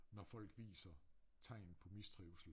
Når folk viser tegn på mistrivsel